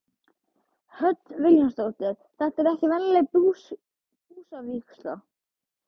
Hödd Vilhjálmsdóttir: Þetta er ekki venjuleg busavígsla?